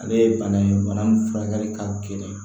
Ale ye bana ye bana min furakɛli ka gɛlɛn